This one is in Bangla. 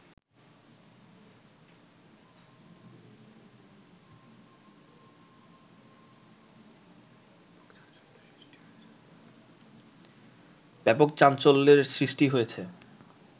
ব্যাপক চাঞ্চল্যের সৃষ্টি হয়েছে